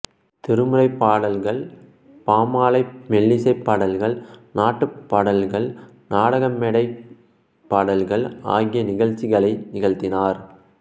திருமுறைப்பாடல்கள் பாமாலை மெல்லிசைப்பாடல்கள் நாட்டுப் பாடல்கள் நாடகமேடைப்பாடல்கள் ஆகிய நிகழ்ச்சிகளை நிகழ்த்தினார்